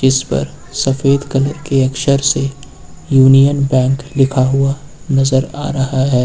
इस पर एक सफेद कलर के अक्षर से यूनियन बैंक लिखा हुआ नजर आ रहा है।